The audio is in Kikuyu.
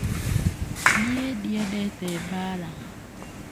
Niĩ ndiendete mbaara.